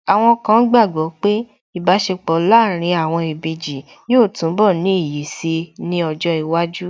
Àwọn kan gbàgbọ́ pé Ìbáṣepọ̀ láàárín àwọn ìbejì yóò túnbọ̀ ní iyì si ní ọjọ́ iwájú